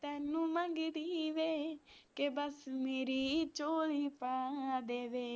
ਤੈਨੂੰ ਮੰਗਦੀ ਵੇ ਬ ਕੇ ਬਸ ਮੇਰੀ ਝੋਲੀ ਪਾ ਦੇਵੇ